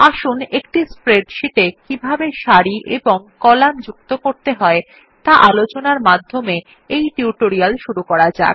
আসুন একটি স্প্রেডশীট এ কিভাবে সারি এবং কলাম যুক্ত করতে হয় টা আলোচনার মধ্যে এই টিউটোরিয়াল শুরু করা যাক